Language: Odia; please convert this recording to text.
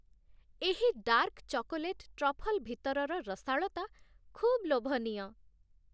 ଏହି ଡାର୍କ ଚକୋଲେଟ୍ ଟ୍ରଫଲ୍ ଭିତରର ରସାଳତା ଖୁବ୍ ଲୋଭନୀୟ।